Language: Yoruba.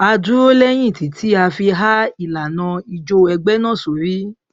a dúró lẹyìn títí a fi há ìlànà ijó ẹgbẹ náà sórí